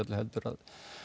að